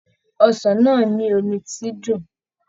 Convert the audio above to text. Ọsàn náà ni omi ti dùn.